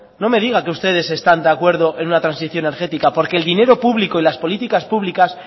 no me diga que ustedes están de acuerdo en una transición energética porque el dinero público y las políticas públicas